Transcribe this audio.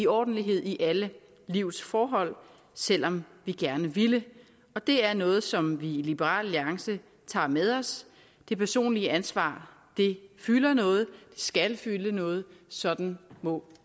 ordentlighed i alle livets forhold selv om vi gerne ville og det er noget som vi i liberal alliance tager med os det personlige ansvar fylder noget det skal fylde noget sådan må